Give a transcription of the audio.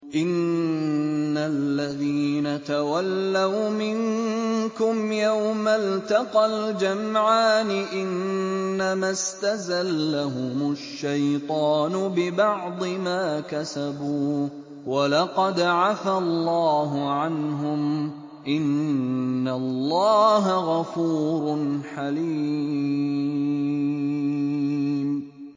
إِنَّ الَّذِينَ تَوَلَّوْا مِنكُمْ يَوْمَ الْتَقَى الْجَمْعَانِ إِنَّمَا اسْتَزَلَّهُمُ الشَّيْطَانُ بِبَعْضِ مَا كَسَبُوا ۖ وَلَقَدْ عَفَا اللَّهُ عَنْهُمْ ۗ إِنَّ اللَّهَ غَفُورٌ حَلِيمٌ